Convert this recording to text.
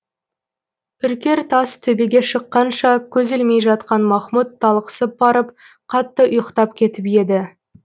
үркер тас төбеге шыққанша көз ілмей жатқан махмұт талықсып барып қатты ұйықтап кетіп еді